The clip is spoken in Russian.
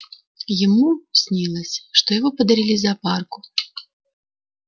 ему снилось что его подарили зоопарку